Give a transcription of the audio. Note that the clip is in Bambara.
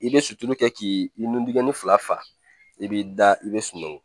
I bɛ sutura kɛ k'i nudigɛnni fila fa i b'i da i bɛ sunɔgɔ